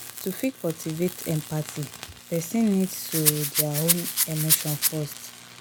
to fit cultivate empathy person need to their own emotion first